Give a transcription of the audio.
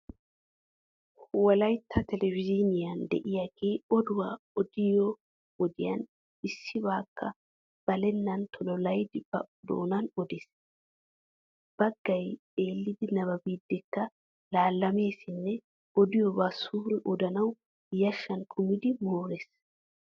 Wolaytta telebizhzhiiniyan de"iyaagee oduwaa odiyoo wodiyaan issibaakka balennan tololaydi ba doonan odees. Baggay xeellidi nababiiddikka laallameesinne odiyooba suuree odanawu yashshan kumidi moores.